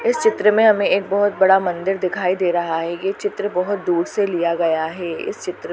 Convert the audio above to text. इस चित्र मे हमे एक बहोत बड़ा मंदिर दिखाई दे रहा हैं ये चित्र बहोत दूर से लिया गया हैं इस चित्र--